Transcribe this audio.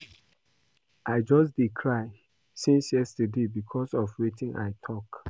I just dey cry since yesterday because of wetin I talk